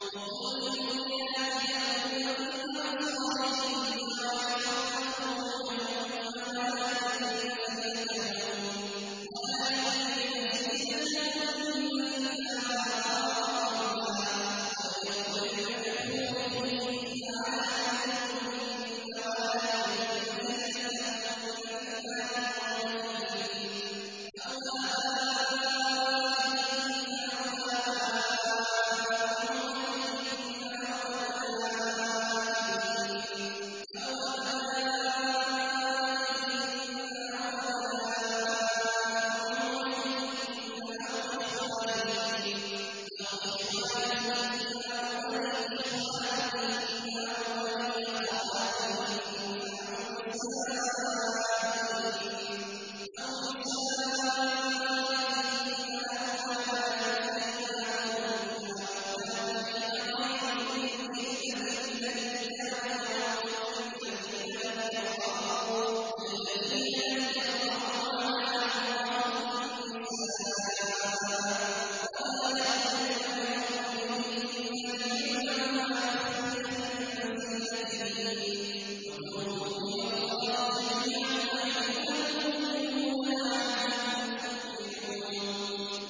وَقُل لِّلْمُؤْمِنَاتِ يَغْضُضْنَ مِنْ أَبْصَارِهِنَّ وَيَحْفَظْنَ فُرُوجَهُنَّ وَلَا يُبْدِينَ زِينَتَهُنَّ إِلَّا مَا ظَهَرَ مِنْهَا ۖ وَلْيَضْرِبْنَ بِخُمُرِهِنَّ عَلَىٰ جُيُوبِهِنَّ ۖ وَلَا يُبْدِينَ زِينَتَهُنَّ إِلَّا لِبُعُولَتِهِنَّ أَوْ آبَائِهِنَّ أَوْ آبَاءِ بُعُولَتِهِنَّ أَوْ أَبْنَائِهِنَّ أَوْ أَبْنَاءِ بُعُولَتِهِنَّ أَوْ إِخْوَانِهِنَّ أَوْ بَنِي إِخْوَانِهِنَّ أَوْ بَنِي أَخَوَاتِهِنَّ أَوْ نِسَائِهِنَّ أَوْ مَا مَلَكَتْ أَيْمَانُهُنَّ أَوِ التَّابِعِينَ غَيْرِ أُولِي الْإِرْبَةِ مِنَ الرِّجَالِ أَوِ الطِّفْلِ الَّذِينَ لَمْ يَظْهَرُوا عَلَىٰ عَوْرَاتِ النِّسَاءِ ۖ وَلَا يَضْرِبْنَ بِأَرْجُلِهِنَّ لِيُعْلَمَ مَا يُخْفِينَ مِن زِينَتِهِنَّ ۚ وَتُوبُوا إِلَى اللَّهِ جَمِيعًا أَيُّهَ الْمُؤْمِنُونَ لَعَلَّكُمْ تُفْلِحُونَ